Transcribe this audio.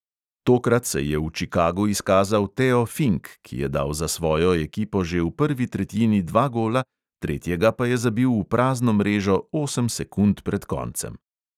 Tokrat se je v čikagu izkazal teo fink, ki je dal za svojo ekipo že v prvi tretjini dva gola, tretjega pa je zabil v prazno mrežo osem sekund pred koncem.